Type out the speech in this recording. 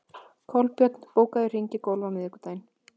Kolbjörn, bókaðu hring í golf á miðvikudaginn.